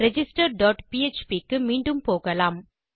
register dot PHP க்கு மீண்டும் போகலாம்